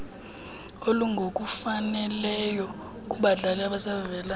olungokufaneleyo kubadlali abasavelayo